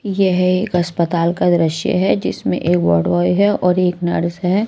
यह एक अस्पताल का दृश्य है जिसमें एक वॉडवॉय है और एक नर्स है।